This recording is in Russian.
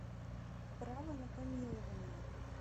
право на помилование